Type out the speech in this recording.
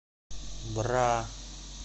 бра